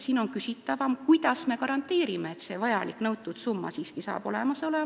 See on küsitavam, sest kuidas me garanteerime, et see vajalik summa saab siiski olemas olema?